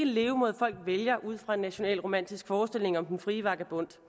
levemåde folk vælger ud fra en nationalromantisk forestilling om den frie vagabond